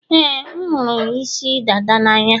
ee, m hụrụ isi dada n'anya.